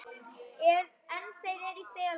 En þeir eru í felum!